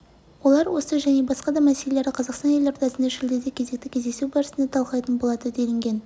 олар осы және басқа да мәселелерді қазақстан елордасында шілдеде кезекті кездесу барысында талқылайтын болады делінген